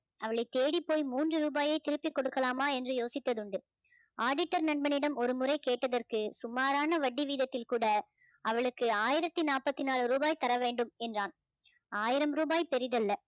அவளை தேடிப்போய் மூன்று ரூபாயை திருப்பி கொடுக்கலாமா என்று யோசித்தது உண்டு auditor நண்பனிடம் ஒருமுறை கேட்டதற்கு சுமாரான வட்டி வீதத்தில் கூட அவளுக்கு ஆயிரத்து நாப்பத்து நாலு ரூபாய் தர வேண்டும் என்றான் ஆயிரம் ரூபாய் பெரிதல்ல